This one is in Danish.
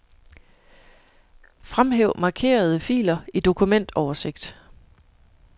Fremhæv markerede filer i dokumentoversigt.